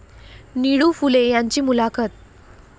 निळू फुले यांची मुलाखत